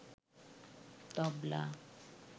তবলা